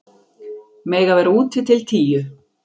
Mega vera úti til tíu